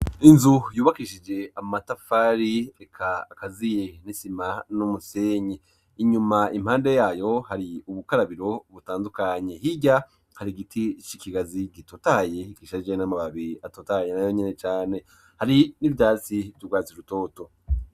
Inzu yubakishije amatafari eka akaziye n'isima n'umusenyi. Inyuma impande yaho hari ubukarabiro butandukanye higa hari giti ic'ikigazi gitotaye ikisharye n'amababiri atotaye na yo nyine cyane hari n'ibyasi turwaz rutoto.